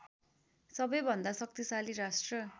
सबैभन्दा शक्तिशाली राष्ट्र